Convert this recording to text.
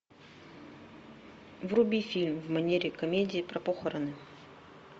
вруби фильм в манере комедии про похороны